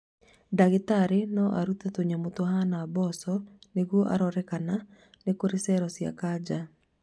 Ndagĩtarĩ no arute tũnyamũ tuhana mboco nĩguo arore kana nĩkũrĩ cero cia kanja